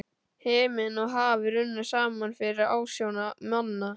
Himinn og haf runnu saman fyrir ásjónum manna.